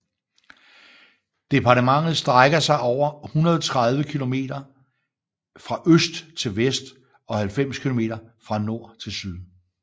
Departementet strækker sig over 130 km fra øst til vest og 90 km fra nord til syd